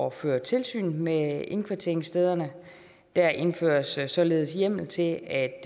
at føre tilsyn med indkvarteringsstederne der indføres således hjemmel til at